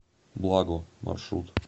благо маршрут